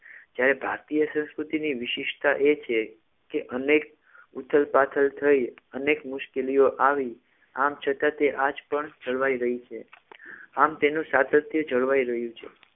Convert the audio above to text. જ્યારે ભારતીય સંસ્કૃતિની વિશેષતા એ છે કે અનેક ઉથલ પાથલ થઈ અનેક મુશ્કેલીઓ આવી આમ છતાં તે આ જ પણ જળવાઈ રહી છે આમ તેનું સાતત્ય જળવાઈ રહ્યું છે